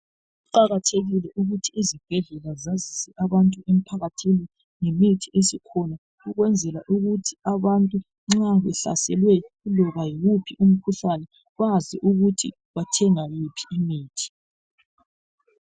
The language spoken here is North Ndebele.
Kuqakathekile ukuthi izibhedlela zazise abantu emphakathini ngemithi esikhona ukwenzela ukuthi abantu nxa behlaselwe iloba yiwuphi umkhuhlane bazi ukuthi bathenga yiphi imithi.